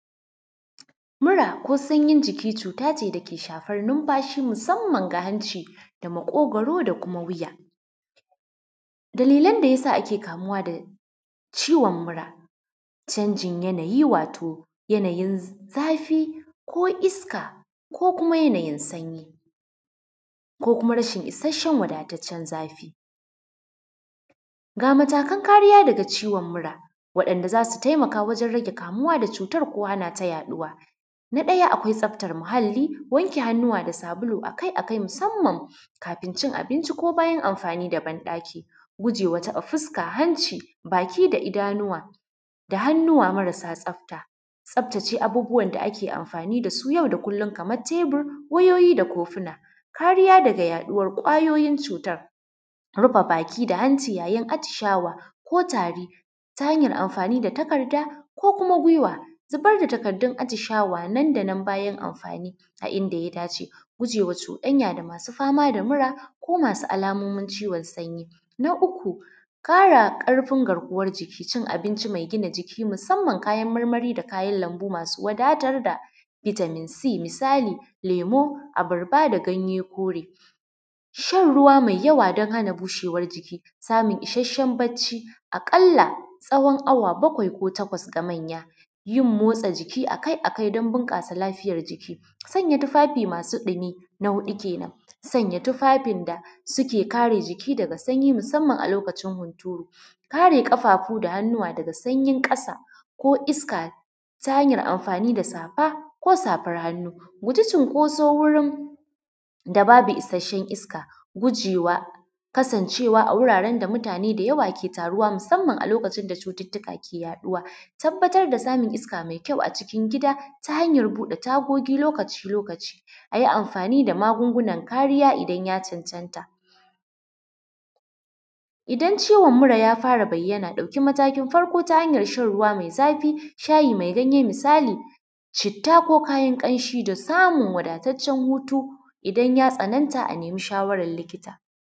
Mura ko sanyin jiki cut ace dake shafan nunfashi musamman ga hanci da maƙogaro da kuma wiya, dalilan da yasa ake kamuwa da ciwon mura canjin yanayi wato yanayin zafi ko iska ko kuma yanayi sanyi ko kuma rashin isasshen wadatacen zafi, ga matakan kariya daga ciwon mura wanda zasu taimaka wajen rage kamuwa da cutar ko hana ta yaɗuwa, na ɗaya akwai tsaftar muhali, wanke hannuwa da sabulu akai-akai musamman kafin cin abinci ko bayan amfani da bandaki, guje wa taɓa fuska, hanci, baki da idanuwa da hannuwa marasa tsafta, tsaftace abubuwan da ake amfani da su yau da kullum kamar tebur, wayoyi da kuma kofuna. Kariya daga yaɗuwa kwayoyin cutar, rufe baki da hanci yayin atishawa ko tari ta hanyar amfani da takarda ko kuma gwewa, zubar da takardun atishawa nan da nan bayan amfani a inda ya dace, guje wa cuɗanya da masu fama da mura ko masu alamomin ciwon sanyi, na uku kara karfin garkuwan jiki, cin abinci mai gina jiki musamman kayan marmari da kayan lambu masu wadatar da vitamin C misali lemo, abarba da ganye kore, shan ruwa mai yawa don hana bushewar jiki, samun isasshen bacci a kalla tsawon hawa baƙwai ko taƙwas ga manya, yin motsa jiki akai-akai don bunkasa lafiyar jiki, sanya tufafi masu ɗumi na huɗu kenan, sanya tufafin da suke kare jiki daga sanyi musamman a lokacin hunturu, kare kafafu da hannuwa daga sanyin kasa ko iska ta hanyar amfani da safa ko safar hannu, guji cunkoso wurin da babu isasshen iska gujewa kasancewa a wuraren da mutane da yawa ke taruwa musamman a lokacin da cututtuka ke yaɗuwa, tabbatar da samun iska mai kyau a cikin gida ta hanyar buɗe tagogi lokaci-lokaci, ayi amfani da magungunan kariya idan ya cancanta, idan ciwon mura ya fara bayyana ɗauki matakin farko ta hanyar shan ruwa mai zafi, shayi mai ganye misali citta ko kayan kanshi da samun wadatacen hutu idan ya tsananta a nemi shawarar likita.